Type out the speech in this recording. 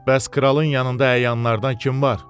Bəs kralın yanında əyanlardan kim var?